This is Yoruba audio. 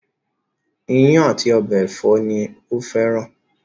Ìyàn àti ọbẹ̀ ẹ̀fọ́ ni ó fẹ́ran